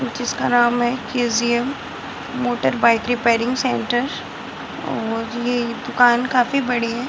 जिसका नाम है KGM. Motor bike repairing centre और ये दुकान काफी बड़ी है।